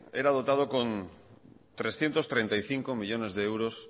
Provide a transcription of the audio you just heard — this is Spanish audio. era dotado con trescientos treinta y cinco millónes de euros